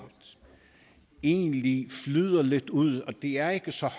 egentlig flyder lidt ud de er ikke så